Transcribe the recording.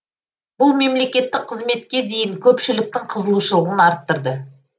бұл мемлекеттік қызметке деген көпшіліктің қызығушылығын арттырды